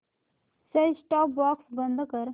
set top box बंद कर